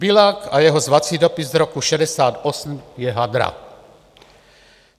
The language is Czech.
Biľak a jeho zvací dopis z roku 1968 je hadra.